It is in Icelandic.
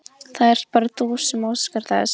Það ert bara þú sem óskar þess.